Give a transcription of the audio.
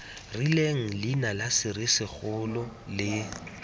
rileng leina la serisikgolo le